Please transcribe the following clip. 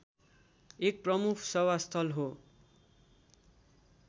एक प्रमुख सभास्थल हो